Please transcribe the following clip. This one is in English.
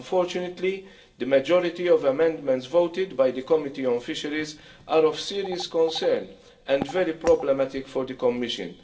Unfortunately, the majority of amendments voted by the Committee on Fisheries are of serious concern and very problematic for the Commission.